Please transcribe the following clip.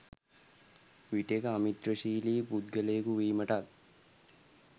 විටෙක අමිත්‍රශීලි පුද්ගලයෙකු වීමටත්